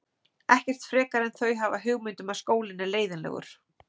Ekkert frekar en þau hafa hugmynd um að skólinn er leiðinlegur.